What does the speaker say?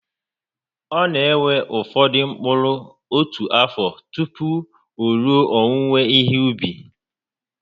Ọ na ewe ụfọdụ mkpụrụ otu afọ tupu o rue owuwe ihe ubi